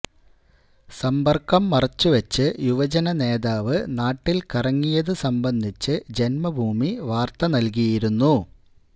സമ്പര്ക്കം മറച്ചുവെച്ച് യുവജനനേതാവ് നാട്ടില് കറങ്ങിയതു സംബന്ധിച്ച് ജന്മഭൂമി വാര്ത്ത നല്കിയിരുന്നു